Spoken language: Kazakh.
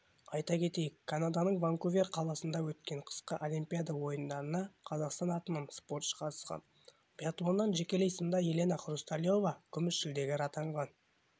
айта кетейік канаданың ванкувер қаласында өткен қысқы олимпиада ойындарына қазақстан атынан спортшы қатысқан биатлоннан жекелей сында елена хрусталева күміс жүлдегер атанған